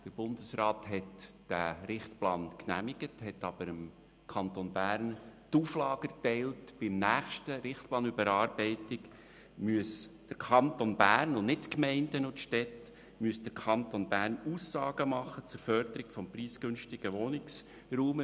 Der Bundesrat hat diesen Richtplan nämlich genehmigt, dem Kanton Bern aber die Auflage erteilt, bei der nächsten Überarbeitung des Richtplans müsse der Kanton Bern und nicht die Gemeinden und Städte Aussagen zur Förderung des preisgünstigen Wohnraums machen.